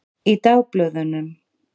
Í dagblöðunum?